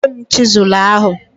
Nye m chizụl ahụ.